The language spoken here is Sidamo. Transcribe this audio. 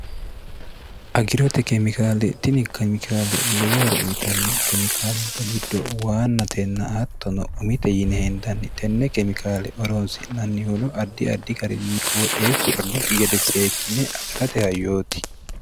agirote keemikaale tini kemikaale lowohoro uyitanno kemikaalubba giddo waanna tenna aattono umite yine hendanni tenne kemikaale oroonsi'nannihuno addi addi garinni qooxee su'rannokki gede seekkinne agarate hayyooti